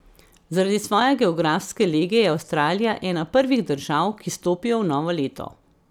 Zaradi svoje geografske lege je Avstralija ena prvih držav, ki stopijo v novo leto.